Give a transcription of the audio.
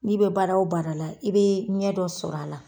N'i be baara o baara la i bee ɲɛ dɔ sɔr'a la.